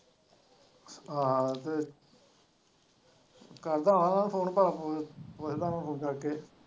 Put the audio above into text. ਆਹੋ ਤੇ ਕਰਦਾ ਹਾਂ ਉਹਨਾਂ ਨੂੰ ਫੋਨ ਭਲਾ .